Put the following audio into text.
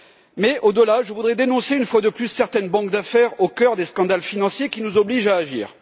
Mais, au delà, je voudrais dénoncer, une fois de plus, certaines banques d'affaires au cœur des scandales financiers, qui nous obligent à agir.